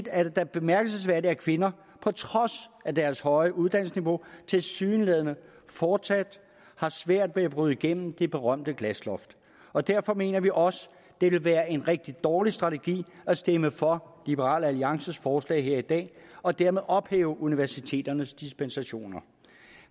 er det da bemærkelsesværdigt at kvinder på trods af deres høje uddannelsesniveau tilsyneladende fortsat har svært ved at bryde igennem det berømte glasloft og derfor mener vi også det ville være en rigtig dårlig strategi at stemme for liberal alliances forslag her i dag og dermed ophæve universiteternes dispensationer